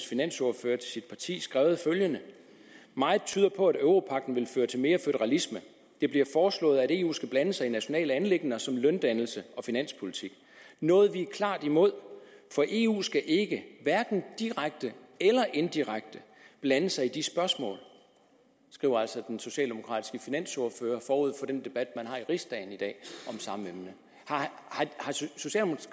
finansordfører til sit parti skrevet følgende meget tyder på at europagten vil føre til mere føderalisme det bliver foreslået at eu skal blande sig i nationale anliggender som løndannelse og finanspolitik noget vi er klart imod for eu skal ikke hverken direkte eller indirekte blande sig i de spørgsmål skriver altså den socialdemokratiske finansordfører forud for den debat man har i riksdagen i dag om samme emne